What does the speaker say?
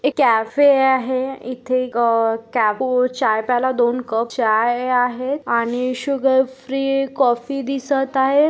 एक कॅफे आहे. इथे अ को चाय प्याला दोन कप चाय आहेत आणि शुगर र्फ्री कॉफी दिसत आहे.